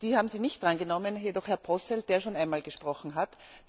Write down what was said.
Die haben Sie nicht drangenommen, jedoch Herrn Posselt, der schon einmal gesprochen hat.